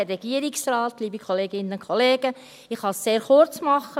Ich kann es sehr kurz machen.